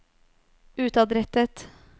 utadrettet